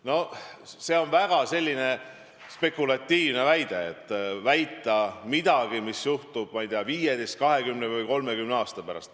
No see on väga spekulatiivne väide: väita midagi, mis juhtub, ma ei tea, 15, 20 või 30 aasta pärast.